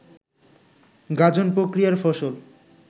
গাজন প্রক্রিয়ার ফসল